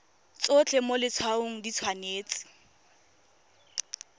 tsotlhe mo letshwaong di tshwanetse